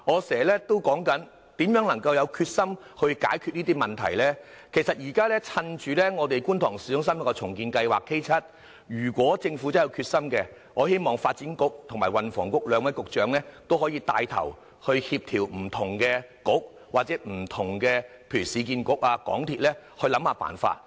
其實，如果政府真的有決心，我希望可以趁着市區重建局進行觀塘市中心重建計劃，由發展局和運輸及房屋局兩位局長牽頭協調不同的局，又或請市建局和香港鐵路有限公司想想辦法。